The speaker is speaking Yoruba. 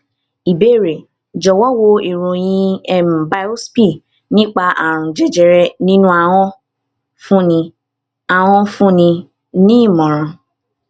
ìbéèrè jọwọ wo ìròyìn um biopsy nípa àrùn jẹjẹrẹ ninu ahon fúnni ahon fúnni ní ìmọràn